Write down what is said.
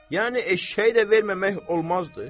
Yəni eşşəyi də verməmək olmazdı.